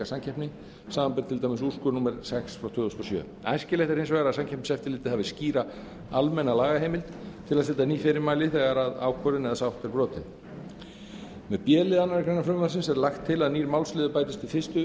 samkeppni samanber til dæmis úrskurð númer sex tvö þúsund og sjö æskilegt er hins vegar að samkeppniseftirlitið hafi skýra almenna lagaheimild til að setja ný fyrirmæli þegar ákvörðun eða sátt er brotin með b lið annarrar greinar frumvarpsins er lagt til að nýr málsliður bætist við fyrstu